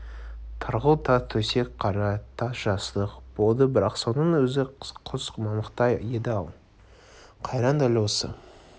тарғыл тас төсек қара тас жастық болды бірақ соның өзі құс мамықтай еді-ау қайран дәл осы